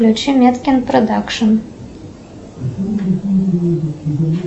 включи меткин продакшн